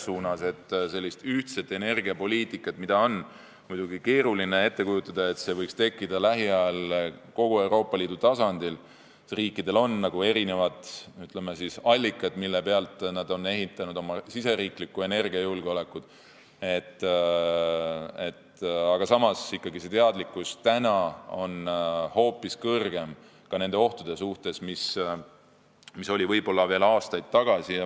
Muidugi on keeruline ette kujutada, et selline ühtne energiapoliitika võiks tekkida lähiajal kogu Euroopa Liidu tasandil, riikidel on erinevad, ütleme siis, allikad, mille peale nad on ehitanud oma riigisisese energiajulgeoleku, aga samas on ikkagi see teadlikkus ka nendest ohtudest täna hoopis kõrgem, kui ta oli võib-olla aastaid tagasi.